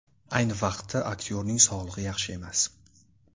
Ayni vaqtda aktyorning sog‘lig‘i yaxshi emas.